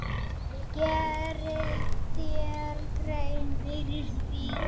Gerirðu þér grein fyrir því?